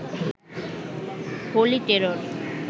holy terror